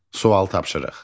Sual tapşırıq.